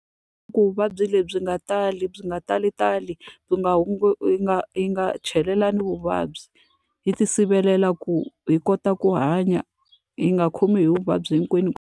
Ku vuvabyi lebyi nga tali byi nga talitali, byi nga hi nga hi nga chelelani vuvabyi. Hi ti sirhelela ku hi kota ku hanya, hi nga khomiwi hi vuvabyi hinkwenu.